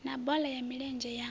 na bola ya milenzhe ya